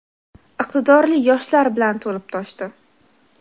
iqtidorli yoshlar bilan to‘lib toshdi.